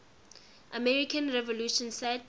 american revolution set